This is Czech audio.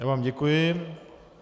Já vám děkuji.